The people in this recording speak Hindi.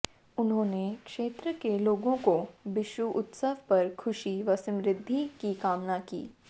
उन्होंने क्षेत्र के लोगों को बिशु उत्सव पर खुशी व समृद्धि की कामना की